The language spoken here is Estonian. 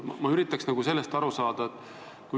Ma üritan sellest aru saada.